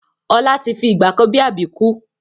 Ọlá tí fi ìgbàkan bi Àbíkú